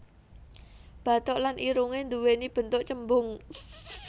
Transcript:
Bathuk lan irungé nduwéni bentuk cembung